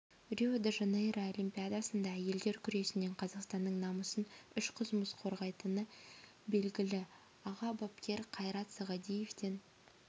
рио де жанейро олимпиадасында әйелдер күресінен қазақстанның намысын үш қызымыз қорғайтыны белгілі аға бапкер қайрат сағадиевтен